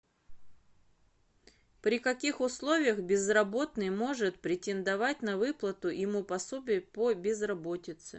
при каких условиях безработный может претендовать на выплату ему пособия по безработице